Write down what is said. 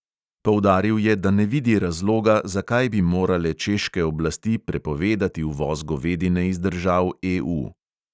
Poudaril je, da ne vidi razloga, zakaj bi morale češke oblasti prepovedati uvoz govedine iz držav EU.